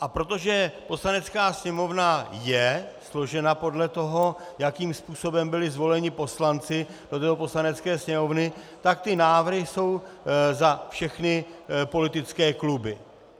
A protože Poslanecká sněmovna je složena podle toho, jakým způsobem byli zvoleni poslanci do této Poslanecké sněmovny, tak ty návrhy jsou za všechny politické kluby.